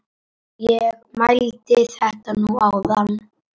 Ég mældi þetta nú áðan.